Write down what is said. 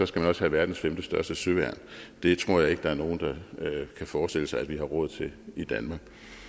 skal have verdens femtestørste søværn det tror jeg ikke at der er nogen der kan forestille sig at vi har råd til i danmark